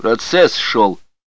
процесс шёл